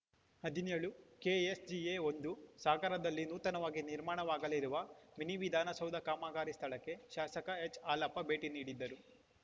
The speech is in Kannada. ಹದಿನೇಳು ಕೆಎಸ್‌ಎಜಿ ಒಂದು ಸಾಗರದಲ್ಲಿ ನೂತನವಾಗಿ ನಿರ್ಮಾಣವಾಗಲಿರುವ ಮಿನಿ ವಿಧಾನಸೌಧ ಕಾಮಗಾರಿ ಸ್ಥಳಕ್ಕೆ ಶಾಸಕ ಎಚ್‌ಹಾಲಪ್ಪ ಭೇಟಿ ನೀಡಿದ್ದರು